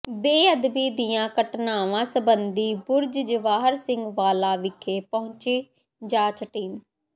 ਬੇਅਦਬੀ ਦੀਆਂ ਘਟਨਾਵਾਂ ਸਬੰਧੀ ਬੁਰਜ ਜਵਾਹਰ ਸਿੰਘ ਵਾਲਾ ਵਿਖੇ ਪਹੁੰਚੀ ਜਾਂਚ ਟੀਮ